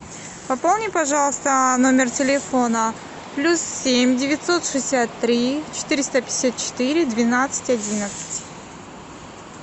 пополни пожалуйста номер телефона плюс семь девятьсот шестьдесят три четыреста пятьдесят четыре двенадцать одиннадцать